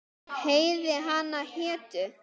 Heiði hana hétu